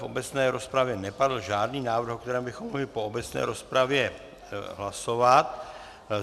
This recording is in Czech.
V obecné rozpravě nepadl žádný návrh, o kterém bychom mohli po obecné rozpravě hlasovat.